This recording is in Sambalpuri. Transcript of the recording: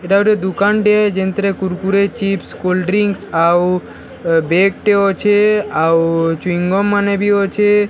ଇଟା ଗୁଟେ ଦୁକାନ ଟେ ଯେନ୍‌ ଥିରେ କୁରକୁରେ ଚିପ୍ସ କୋଲ୍ଡ଼ ଡ୍ରିଙ୍କ୍ସ ଆଉ ବେଗ ଟେ ଅଛେ ଆଉ ଚୁଇଁଗମ ମାନେ ବି ଅଛେ --